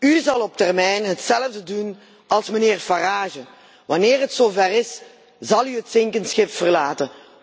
U zult op termijn hetzelfde doen als mijnheer Farage wanneer het zover is, zult u het zinkende schip verlaten!